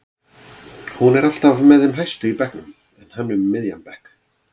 Hún er alltaf með þeim hæstu í bekknum en hann um miðjan bekk.